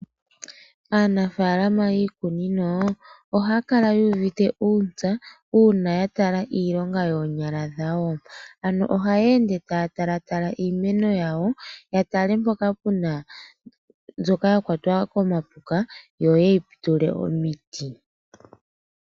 Aanafaalama yiikunino ohaakala ye United uuntsa uuna yatala iilonga yeenyala dhawo, ano ohayeenfe taatala tala iimeno yawo yatale mpoka puna mbyoka yakwatwa komapuka yoyeyi tule omiti.